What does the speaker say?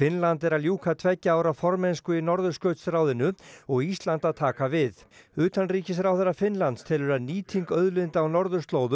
Finnland er að ljúka tveggja ára formennsku í Norðurskautsráðinu og Ísland að taka við utanríkisráðherra Finnlands telur að nýting auðlinda á norðurslóðum